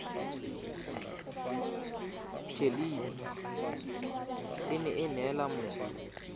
thelebi ene e neela motho